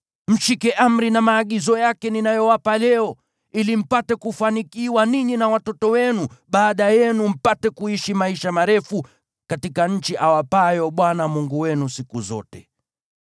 Mshike amri na maagizo yake ninayowapa leo, ili mpate kufanikiwa ninyi na watoto wenu baada yenu, na mpate kuishi maisha marefu katika nchi awapayo Bwana Mungu wenu siku zote.